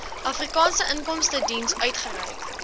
afrikaanse inkomstediens uitgereik